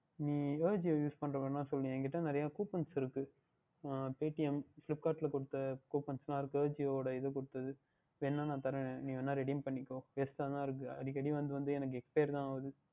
நீங்கள் Ajio use பண்ணுகின்றார்கள் என்றால் சொல்லுங்கள் என்னிடம் நிறைய Coupons இருக்கின்றது ஹம் PaytmFlipkart ல கொடுத்த Coupons எல்லாம் இருக்கின்றது Ajio உடைய இது கொடுத்தது வேணுமென்றால் நான் தருகின்றேன் நீங்கள் வேணுமென்றால் Redim பண்ணிக்கொள்ளுங்கள் Waste டாக இருக்கின்றது அடிக்கடி வந்து வந்து Expired தான் ஆகின்றது